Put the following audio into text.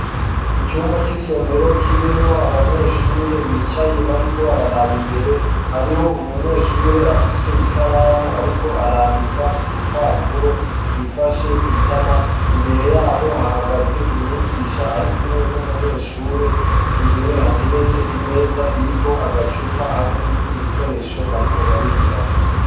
icumba c'isomero kirimwo abanyeshure bicaye bariko bararaba imbere hariho umunyeshure afise ikaramu ariko arandika kurupapuro yifashe kwitama imbere yabo hahagaze umyigisha arikumwe n'umunyeshure imbere hateretse imeza iriko agacupa hamwe n'ibindi bikoresho bariko barigirako